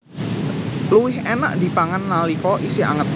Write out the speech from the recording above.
Luwih énak dipangan nalika isih anget